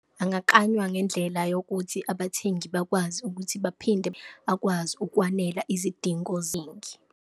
Angaklanywa ngendlela yokuthi abathengi bakwazi ukuthi baphinde akwazi ukwanela izidingo .